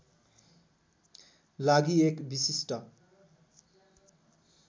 लागि एक विशिष्ट